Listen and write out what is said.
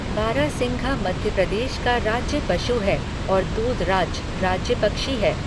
बारहसिंघा मध्य प्रदेश का राज्य पशु है और दूधराज राज्य पक्षी है।